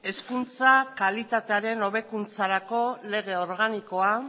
hezkuntza kalitatearen hobekuntzarako lege organikoa